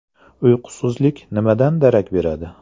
Uyqusizlik nimadan darak beradi?